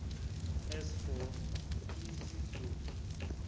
as for ngizihluphe